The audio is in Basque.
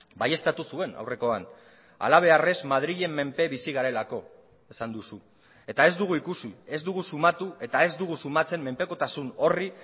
baieztatu zuen aurrekoan halabeharrez madrilen menpe bizi garelako esan duzu eta ez dugu ikusi ez dugu sumatu eta ez dugu sumatzen menpekotasun horri